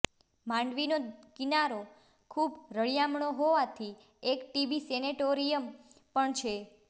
માંડવીનો કિનારો ખૂબ રળિયામણો હોવાથી એક ટીબી સેનેટોરિયમ પણ છે